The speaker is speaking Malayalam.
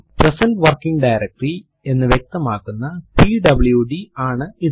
പ്രസന്റ് വർക്കിങ് ഡയറക്ടറി എന്ന് വ്യക്തമാക്കുന്ന പിഡബ്ല്യുഡി ആണ് ഇത്